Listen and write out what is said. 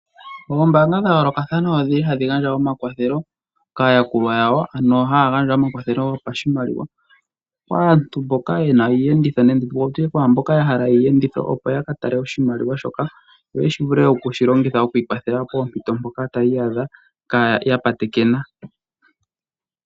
Oombanga dha yolokathana ohadhi gandja omakwatho kaayakulwa yawo, ano haya gandja omakwathelo gopashimaliwa kaantu mboka ye na iiyenditho nenge wu tye kwaa mboka ya hala iiyenditho, opo ya ka tale oshimaliwa shoka yo ya vule okushi longitha pompito mpoka taya iyadha ya patekena.